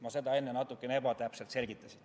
Ma selgitasin seda enne natukene ebatäpselt.